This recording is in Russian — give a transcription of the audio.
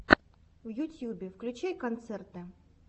в ютьюбе включай концерты